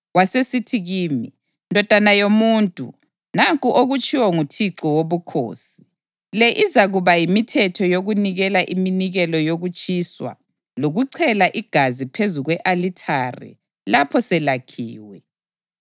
Wasesithi kimi, “Ndodana yomuntu, nanku okutshiwo nguThixo Wobukhosi: Le izakuba yimithetho yokunikela iminikelo yokutshiswa lokuchela igazi phezu kwe-alithari lapho selakhiwe: